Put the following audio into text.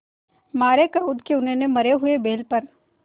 मारे क्रोध के उन्होंने मरे हुए बैल पर